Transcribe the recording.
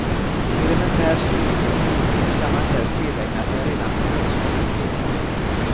Elementär studieteknik ska man helst tillägna sig redan på grundskolenivå.